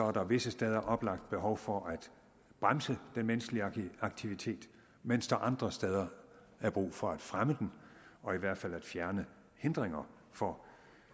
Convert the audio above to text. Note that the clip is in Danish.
at der visse steder er oplagt behov for at bremse den menneskelige aktivitet mens der andre steder er brug for at fremme den og i hvert fald at fjerne hindringer for